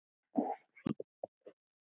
Ég stend við það.